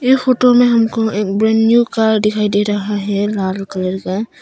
ये फोटो में हमको एक ब्रांड न्यू कार दिखाई दे रहा है लाल कलर का